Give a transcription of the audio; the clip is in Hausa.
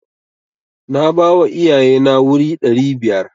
Na bawa iyaye na wuri ɗari biyar.